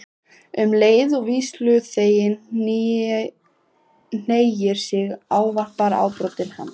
Um leið og vígsluþeginn hneigir sig ávarpar ábótinn hann